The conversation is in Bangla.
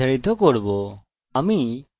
একে date দিয়ে নির্ধারিত করব